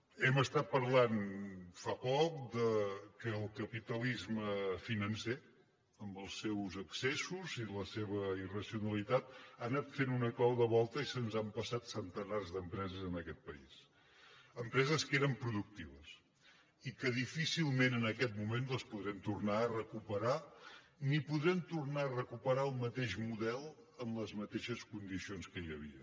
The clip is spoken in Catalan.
hem parlat fa poc del fet que el capitalisme financer amb els seus excessos i la seva irracionalitat ha anat fent una clau de volta i se’ns ha empassat centenars d’empreses en aquest país empreses que eren productives i que difícilment en aquest moment les podrem tornar a recuperar ni podrem tornar a recuperar el mateix model amb les mateixes condicions que hi havia